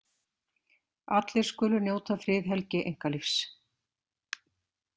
Allir skulu njóta friðhelgi einkalífs.